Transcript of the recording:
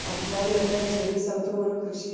പഞ്ചാബിലൊക്കെ ചെറിയ സ്ഥലത്ത് പോലും കൃഷി